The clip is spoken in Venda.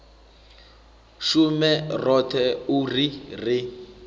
shume roṱhe u ri ri